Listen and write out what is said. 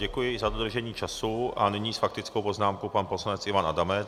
Děkuji za dodržení času a nyní s faktickou poznámkou pan poslanec Ivan Adamec.